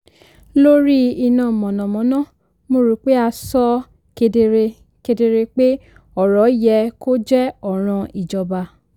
lórí iná mànàmáná mo rò pé a sọ ọ́ kedere kedere pé ọ̀rọ̀ yẹ kó jẹ́ ọ̀ràn ìjọba.